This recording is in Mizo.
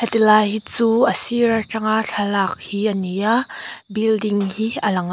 ti lai hi chu a sir atanga thlalak hi ani a building hi a lang a.